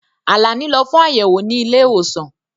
Àlàní lọ fún ayẹwo ni ilé-ìwòsàn.